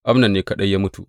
Amnon ne kaɗai ya mutu.